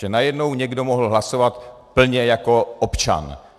Že najednou někdo mohl hlasovat plně jako občan.